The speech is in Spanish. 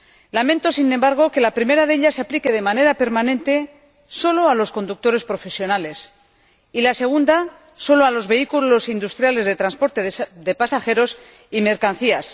Lamento, sin embargo, que la primera de ellas se aplique de manera permanente sólo a los conductores profesionales y la segunda sólo a los vehículos industriales de transporte de pasajeros y mercancías.